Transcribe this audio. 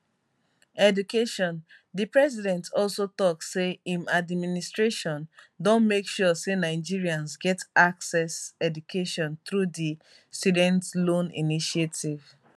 education di president also tok say im administration don make sure say nigerians get access education through di students loan initiative